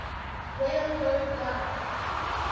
rail road line